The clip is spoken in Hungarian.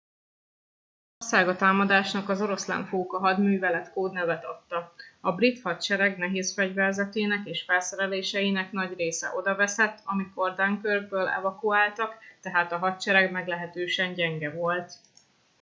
németország a támadásnak az oroszlánfóka hadművelet kódnevet adta a brit hadsereg nehézfegyverzetének és felszereléseinek nagy része odaveszett amikor dunkirkből evakuáltak tehát a hadsereg meglehetősen gyenge volt